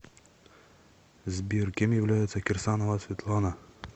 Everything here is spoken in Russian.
сбер кем является кирсанова светлана